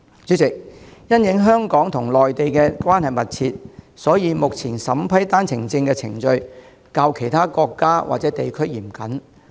主席，香港與內地關係密切，所以目前審批單程證程序較審批其他國家或地區來港的申請嚴謹。